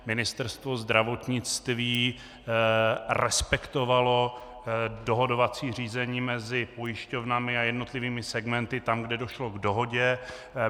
Ministerstvo zdravotnictví respektovalo dohodovací řízení mezi pojišťovnami a jednotlivými segmenty tam, kde došlo k dohodě.